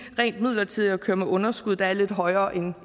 ren midlertidigt at køre med et underskud der er lidt højere end